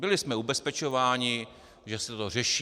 Byli jsme ubezpečováni, že se to řeší.